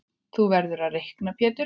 Þú verður að reikna Pétur.